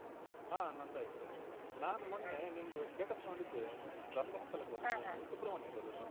ಹ ನಂದಾಯ್ತು ನಾನು ಮೊನ್ನೆ ನಿಮ್ದು status ನೋಡಿದ್ದೆ ಧರ್ಮಸ್ಥಳಕ್ಕ್ ಹೋದದ್ದಾ ನೀವು? ಸುಬ್ರಹ್ಮಣ್ಯಕ್ಕ್ ಹೋದದ್ದಾ?